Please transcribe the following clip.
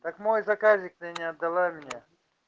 так мой заказик ты не отдала мне